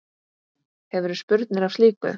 Hefurðu spurnir af slíku?